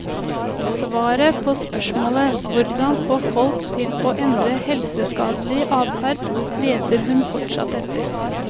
Svaret på spørsmålet hvordan få folk til å endre helseskadelig adferd, leter hun fortsatt etter.